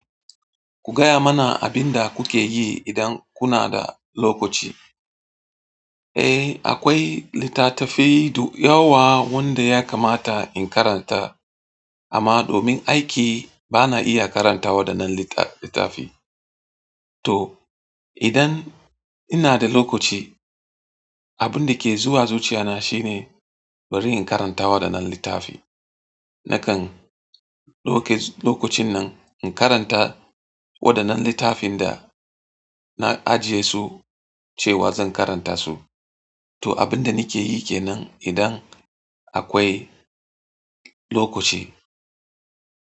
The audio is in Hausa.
Ku gaya mana abin da kuke yi idan kuna da lokaci. Eh, akwai littatafai dayawa wanda ya kamata in karanta amma domin aiki bana iya karantawa waɗannan littafi. To idan ina da lokaci, abin da ke zuwa zuciya na shine bari in karantawa waɗannan littafi. Nakan lokacin nan in karanta waɗannan littafin da na ajiye su cewa zan karanta su. To abin da nake yi ke nan idan akwai lokaci.